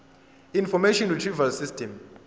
information retrieval system